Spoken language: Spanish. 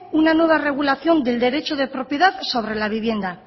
una nueva regulación del derecho de propiedad sobre la vivienda